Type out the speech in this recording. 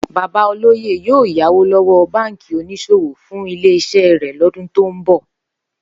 Bàbá olóyè yóò yáwó ló̩wó̩ báǹkì onís̩òwò fún ilé is̩é̩ rè̩ ló̩dún tó ń bò̩